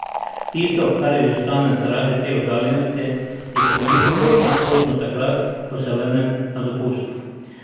Tisto, kar izostane zaradi te oddaljenosti, je pa toliko bolj kakovostno takrat, ko se vrnem na dopust.